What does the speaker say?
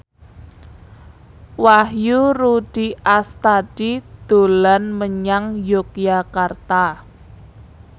Wahyu Rudi Astadi dolan menyang Yogyakarta